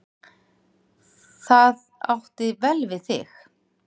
Það átti vel við þig.